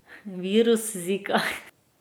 Virus Zika.